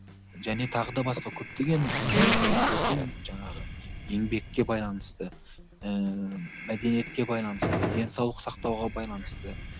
және тағы да басқа көптеген ііі әйелдердің жаңағы еңбекке байланысты ііі мәдениетке байланысты денсаулық сақтауға байланысты